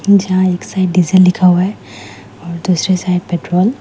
जहां एक side diesel लिखा हुआ है और दूसरे साइड पेट्रोल ।